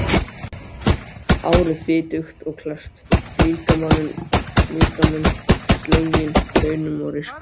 Hárið fitugt og klesst, líkaminn sleginn kaunum og rispum.